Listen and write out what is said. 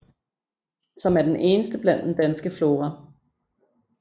Som er den eneste blandt den danske flora